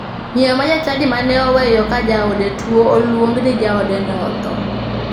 Miyo ma jachadi mane oweyo ka jaode tuo oluong ni jaodeno otho.